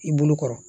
I bolo kɔrɔ